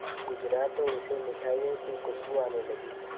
गुजरा तो उसे मिठाइयों की खुशबू आने लगी